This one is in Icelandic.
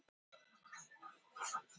Kannski gert gæfumuninn.